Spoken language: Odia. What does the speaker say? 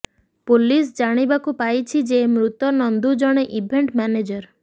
ପୁଲିସ ଜାଣିବାକୁ ପାଇଛି ଯେ ମୃତ ନନ୍ଦୁ ଜଣେ ଇଭେଣ୍ଟ ମ୍ୟାନେଜର